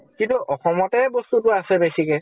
সিটো অসমতে বস্তুটো আছে বেছিকে?